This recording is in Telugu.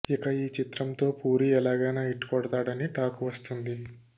ఇక ఈ చిత్రంతో పూరి ఎలాగైనా హిట్ కొడతాడని టాక్ వస్తుంది